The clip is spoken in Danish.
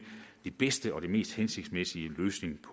den bedste og den mest hensigtsmæssige løsning